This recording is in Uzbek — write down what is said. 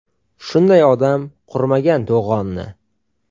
Shunday odam qurmagan to‘g‘onni.